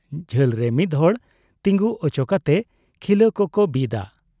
ᱡᱷᱟᱹᱞ ᱨᱮ ᱢᱤᱫ ᱦᱚᱲ ᱛᱤᱜᱩ ᱚᱪᱚ ᱠᱟᱛᱮ ᱠᱷᱤᱞᱟᱹ ᱠᱚᱠᱚ ᱵᱤᱫᱟ ᱾